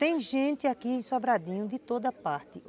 Tem gente aqui sobradinho de toda parte.